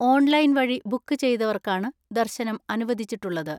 Online വഴി book ചെയ്തവർക്കാണ് ദർശനം അനുവദിച്ചിട്ടുള്ളത്.